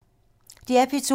DR P2